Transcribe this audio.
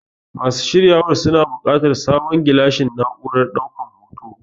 Masu shiryawar suna buƙatar sabon gilashin na'urar ɗaukan hoto.